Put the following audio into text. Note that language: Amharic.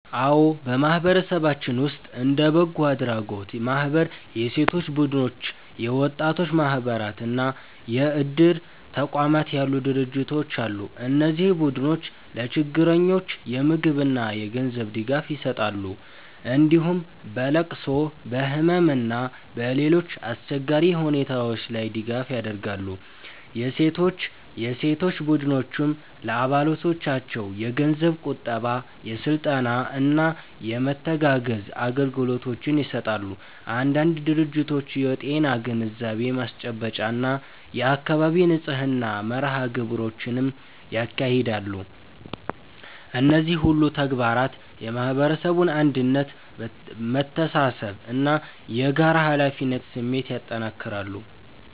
አዎ፣ በማህበረሰባችን ውስጥ እንደ በጎ አድራጎት ማህበራት፣ የሴቶች ቡድኖች፣ የወጣቶች ማህበራት እና የእድር ተቋማት ያሉ ድርጅቶች አሉ። እነዚህ ቡድኖች ለችግረኞች የምግብና የገንዘብ ድጋፍ ይሰጣሉ፣ እንዲሁም በለቅሶ፣ በህመም እና በሌሎች አስቸጋሪ ሁኔታዎች ላይ ድጋፍ ያደርጋሉ። የሴቶች ቡድኖችም ለአባሎቻቸው የገንዘብ ቁጠባ፣ የስልጠና እና የመተጋገዝ አገልግሎቶችን ይሰጣሉ። አንዳንድ ድርጅቶች የጤና ግንዛቤ ማስጨበጫ እና የአካባቢ ንጽህና መርሃ ግብሮችንም ያካሂዳሉ። እነዚህ ሁሉ ተግባራት የማህበረሰቡን አንድነት፣ መተሳሰብ እና የጋራ ኃላፊነት ስሜት ያጠናክራሉ።